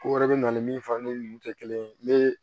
Ko wɛrɛ bɛ na ni min fari tɛ kelen ye ne